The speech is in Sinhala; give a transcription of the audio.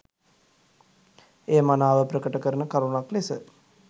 එය මනාව ප්‍රකට කරන කරුණක් ලෙස